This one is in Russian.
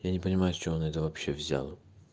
я не понимаю с чего она это вообще взяла